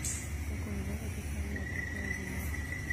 в каком городе самая теплая зима